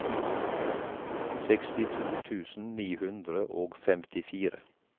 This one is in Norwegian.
sekstito tusen ni hundre og femtifire